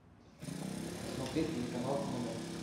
посмотреть телеканал номер